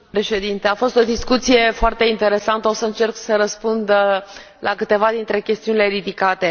Doamnă președintă, a fost o discuție foarte interesantă. Voi încerca să răspund la câteva dintre chestiunile ridicate.